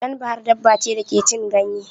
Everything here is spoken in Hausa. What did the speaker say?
Ɗan bahar daba ce da ke cin ganye.